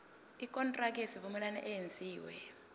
ikontraki yesivumelwano eyenziwe